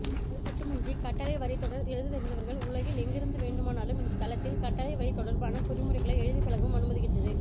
அதுமட்டுமின்றி கட்டளைவரிதொடர் எழுததெரிந்தவர்கள் உலகில் எங்கிருந்து வேண்டு மானாலும் இந்த தளத்தில் கட்டளைவரிதொடர்பான குறிமுறைகளை எழுதிப்பழகவும் அனுமதிக்கின்றது